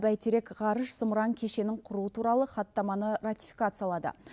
бәйтерек ғарыш зымыран кешенін құру туралы хаттаманы ратификациялады